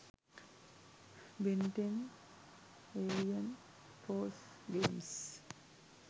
ben 10 alien force games